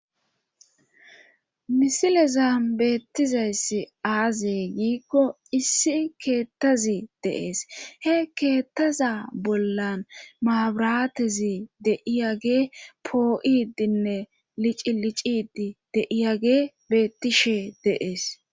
misile zaam beettizayssi aazey giikko issi keettazi deees he keettaza bollan maabiratezi deiyage poo7idinne licilicidi deiyage beettishe deees